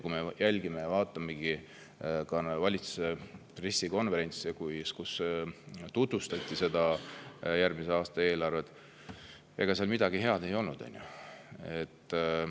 Kui me vaatasime valitsuse pressikonverentse, kus tutvustati järgmise aasta eelarvet, siis ega seal midagi head ei olnud.